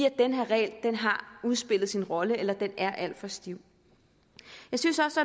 at den her regel har udspillet sin rolle eller at den er alt for stiv jeg synes også